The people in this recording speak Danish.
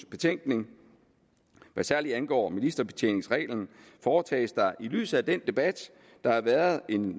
betænkning hvad særlig angår ministerbetjeningsreglen foretages der i lyset af den debat der har været en